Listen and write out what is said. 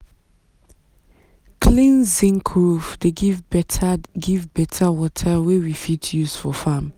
clean zinc roof dey give better give better water wey we fit use for farm.